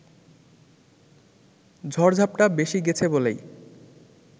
ঝড়-ঝাপটা বেশি গেছে বলেই